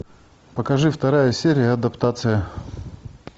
покажи вторая серия адаптация